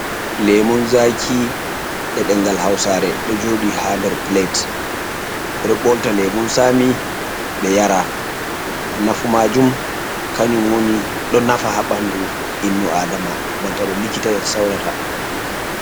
Lemun zaki e'ɗengal hausare ɗo joɗi ha nder plate. Ɓe ɗo ɓolta lemun sami ɓe yara. Nafu majum kanyum woni ɗo nafa ha ɓandu innu Adama banta no likkita en saurata.